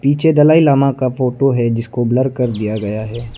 ये दलाई लामा का फोटो है जिसको ब्लर कर दिया गया है।